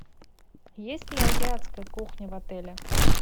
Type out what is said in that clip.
есть ли азиатская кухня в отеле